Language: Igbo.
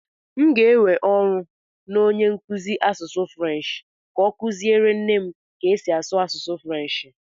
M ga-ewe n'ọrụ onye nkuzi asụsụ Frenshi ka ọ kụziere nne m ka esi asụ asụsụ Frenshi.